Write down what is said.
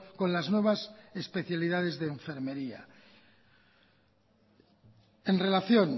con las nuevas especialidades de enfermería en relación